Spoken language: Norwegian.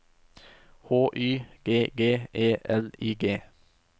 H Y G G E L I G